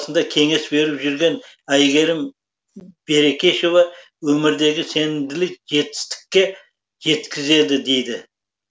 кеңес беріп жүрген әйгерім берекешова өмірдегі сенімділік жетістікке жеткізеді дейді